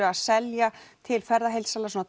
að selja til ferðaheildsala